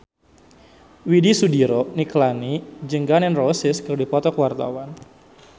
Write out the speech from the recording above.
Widy Soediro Nichlany jeung Gun N Roses keur dipoto ku wartawan